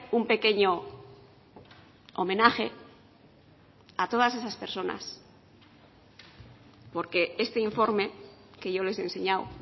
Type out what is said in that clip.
un pequeño homenaje a todas esas personas porque este informe que yo les he enseñado